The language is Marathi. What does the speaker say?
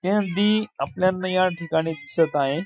इत्यादी आपल्यांना या ठिकाणी दिसत आहे.